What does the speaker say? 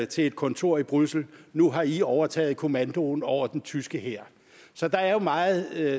til et kontor i bruxelles nu har i overtaget kommandoen over den tyske hær så der er jo meget